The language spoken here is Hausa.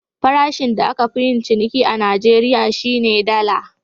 Farashin da aka fi yin ciniki a Najeriya, shi ne Dala.